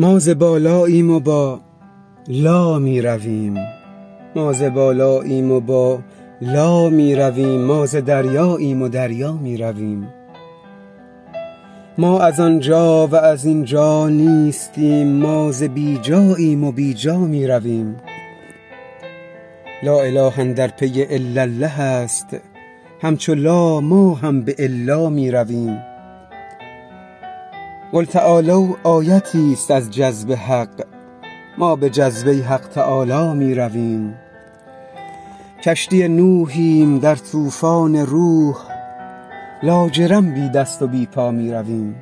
ما ز بالاییم و بالا می رویم ما ز دریاییم و دریا می رویم ما از آن جا و از این جا نیستیم ما ز بی جاییم و بی جا می رویم لااله اندر پی الالله است همچو لا ما هم به الا می رویم قل تعالوا آیتیست از جذب حق ما به جذبه حق تعالی می رویم کشتی نوحیم در طوفان روح لاجرم بی دست و بی پا می رویم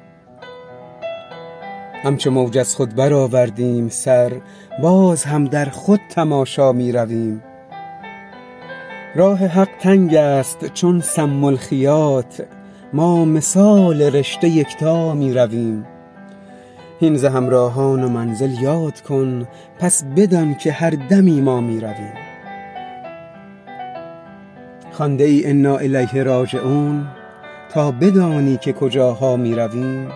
همچو موج از خود برآوردیم سر باز هم در خود تماشا می رویم راه حق تنگ است چون سم الخیاط ما مثال رشته یکتا می رویم هین ز همراهان و منزل یاد کن پس بدانک هر دمی ما می رویم خوانده ای انا الیه راجعون تا بدانی که کجاها می رویم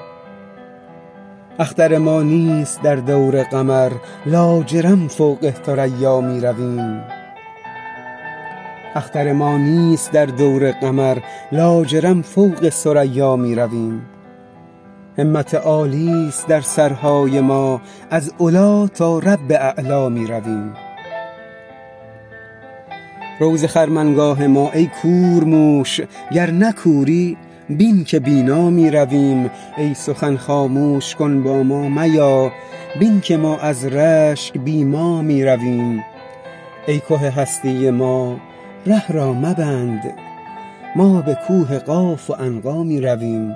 اختر ما نیست در دور قمر لاجرم فوق ثریا می رویم همت عالی است در سرهای ما از علی تا رب اعلا می رویم رو ز خرمنگاه ما ای کورموش گر نه کوری بین که بینا می رویم ای سخن خاموش کن با ما میا بین که ما از رشک بی ما می رویم ای که هستی ما ره را مبند ما به کوه قاف و عنقا می رویم